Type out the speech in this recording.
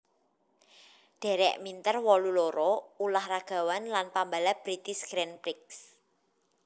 Derek Minter wolu loro ulah ragawan lan pambalap British Grand Prix